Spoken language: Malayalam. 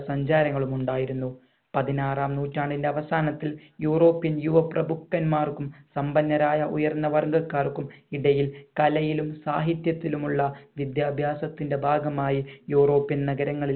സഞ്ചാരങ്ങളും ഉണ്ടായിരിന്നു പതിനാറാം നൂറ്റാണ്ടിന്റെ അവസാനത്തിൽ european യുവ പ്രഭുക്കന്മാർക്കും സമ്പന്നരായ ഉയർന്ന വർഗ്ഗക്കാർക്കും ഇടയിൽ കലയിലും സാഹിത്യത്തിലുമുള്ള വിദ്യാഭ്യാസത്തിന്റെ ഭാഗമായി european നഗരങ്ങളിൽ